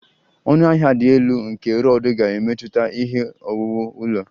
Ọnụahịa dị elu nke rod ga-emetụta ihe owuwu ụlọ